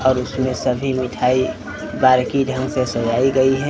और इसमें सभी मिठाई बारीकी ढंग से सजाई गई हैं।